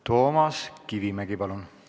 Toomas Kivimägi, palun!